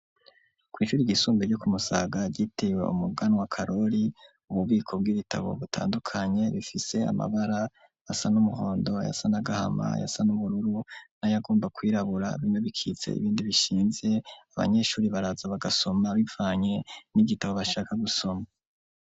Kw'ishuri ryisumbuye ryo ku Musaga ryitirwe umuganwa Karori, ububiko bw'ibitabo butandukanye bifise amabara asa n'umuhondo, ayasa n'agahama, ayasa n'ubururu n'ayagomba kwirabura, bimwe bikitse ibindi bishinze abanyeshure baraza bagasoma bivanye n'igitabo bashaka gusoma.